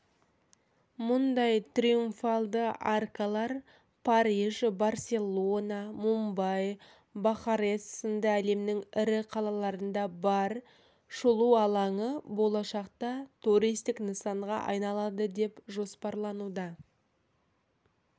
мұндай триумфалды аркалар париж барселона мумбай бухарест сынды әлемнің ірі қалаларында бар шолу алаңы болашақта туристік нысанға айналады деп жоспарлануда